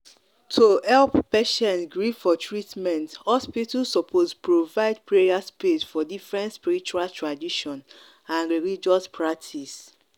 to help patients gree for treatment hospital suppose provide prayer space for different spiritual tradition and religious practice.